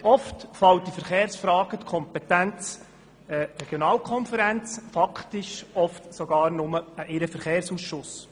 Häufig fallen die Verkehrsfragen in die Kompetenz der Regionalkonferenz, faktisch oft sogar nur an deren Verkehrsausschuss.